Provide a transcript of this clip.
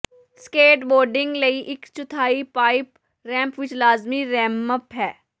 skateboarding ਲਈ ਇਕ ਚੌਥਾਈ ਪਾਈਪ ਰੈਂਪ ਇੱਕ ਲਾਜਮੀ ਰੈਮਪ ਹੈ